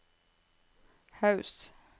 Haus